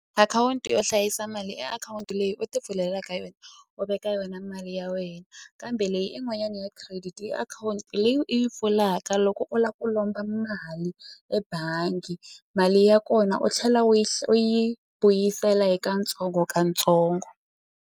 Akhawunti yo hlayisa mali i akhawunti leyi u ti pfulelaka yona u veka yona mali ya wena kambe leyi i n'wanyana ya credit i akhawunti leyi u yi pfulaka loko u la ku lomba mali ebangi mali ya kona u tlhela u yi u yi vuyisela hi katsongokatsongo.